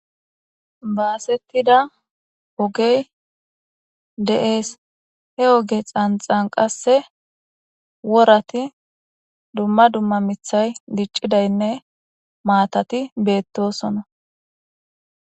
Baasettida ogey de7ees he oge xanxan qasse worati dumma dumma mithay diccidaynne maatati beettosona